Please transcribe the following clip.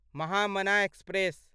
Mahamana express